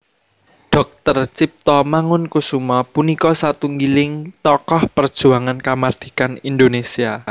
Dr Tjipto Mangunkusumo punika satunggiling tokoh perjuangan kamardikan Indonésia